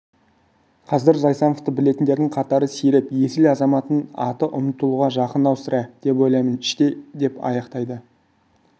қазір зайсановты білетіндердің қатары сиреп есіл азаматтың аты ұмтылуға жақын-ау сірә деп ойлаймын іштей деп аяқтайды